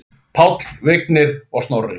Páll, Vignir og Snorri.